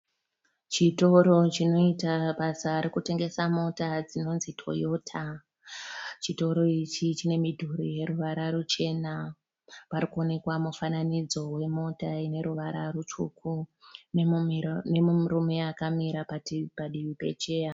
Chitoro chinoita basa rokutengesa mota dzinonzi Toyota. Chitoro ichi chine midhuri yeruvara ruchena. Pari kuonekwa mufananidzo wemota ine ruvara rutsvuku nemurume akamira padivi pecheya.